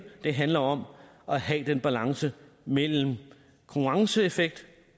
det handler om at have den balance mellem konkurrenceeffekt